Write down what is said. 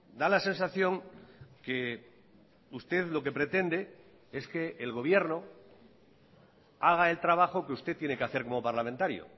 da la sensación que usted lo que pretende es que el gobierno haga el trabajo que usted tiene que hacer como parlamentario